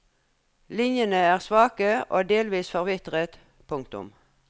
Linjene er svake og delvis forvitret. punktum